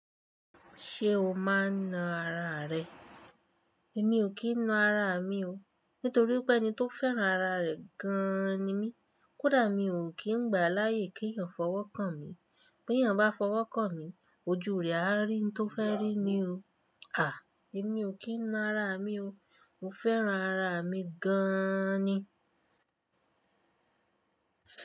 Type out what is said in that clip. Ṣé o máa ń na ara rẹ? Èmi ò kí ń náà ara mi o. Nítorí wipé ẹni tó fẹ́ràn ara rẹ̀ gan-an ni mí. Kódà mi ò kí ń gbà láyè kí èyàn fọwọ́ kan mi. Bí èyàn bá fọwọ́ kan mi, ojú rẹ̀ á rí n tó fẹ́ rí ni o. Èmi ò kí ń na ara mi o. Mo fẹ́ràn ara mi gan-an ni.